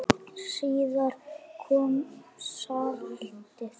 Síðar kom saltið.